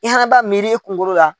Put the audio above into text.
I hana b'a miiri i kungolo la.